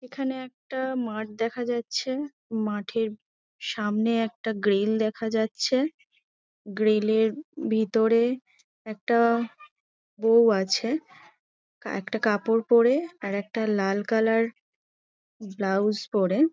এখানে একটা মাঠ দেখা যাচ্ছে মাঠের সামনে একটা গ্রিল দেখা যাচ্ছে গ্রিলের ভিতরে একটা বৌ আছে তা একটা কাপড় পরে আর একটা লাল কালার ব্লাউজ পরে।